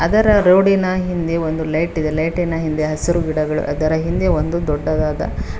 ಅದರ ರೋಡಿನ ಹಿಂದೆ ಒಂದು ಲೈಟ್ ಇದೆ ಲೈಟ್ ಇನ ಹಿಂದೆ ಹಸಿರು ಗಿಡಗಳು ಅದರ ಹಿಂದೆ ಒಂದು ದೊಡ್ಡದಾದ--